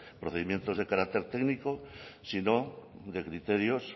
procedimientos de carácter técnico sino de criterios